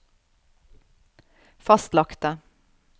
fastlagte